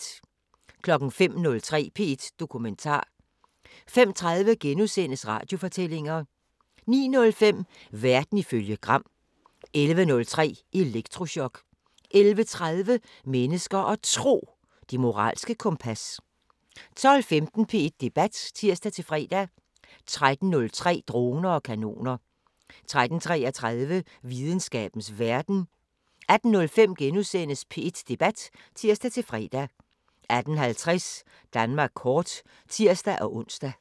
05:03: P1 Dokumentar 05:30: Radiofortællinger * 09:05: Verden ifølge Gram 11:03: Elektrochok 11:30: Mennesker og Tro: Det moralske kompas 12:15: P1 Debat (tir-fre) 13:03: Droner og kanoner 13:33: Videnskabens Verden 18:05: P1 Debat *(tir-fre) 18:50: Danmark kort (tir-ons)